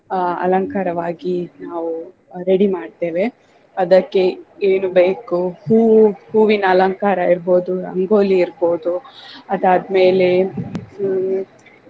ಆಹ್ ಅಲಂಕಾರವಾಗಿ ನಾವು ready ಮಾಡ್ತೇವೆ. ಅದಕ್ಕೆ ಏನು ಬೇಕು ಹೂವು ಹೂವಿನ ಅಲಂಕಾರ ಇರ್ಬೋದು ರಂಗೋಲಿ ಇರ್ಬೋದು ಅದಾದ್ಮೇಲೆ ಹ್ಮ್